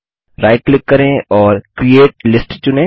right click करें और create list चुनें